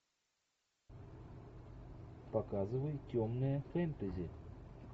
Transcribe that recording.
показывай темное фэнтези